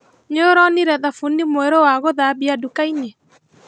Nĩũronire thabuni mwerũ wa gũthambia dukainĩ?